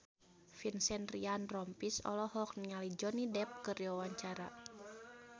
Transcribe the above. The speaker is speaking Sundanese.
Vincent Ryan Rompies olohok ningali Johnny Depp keur diwawancara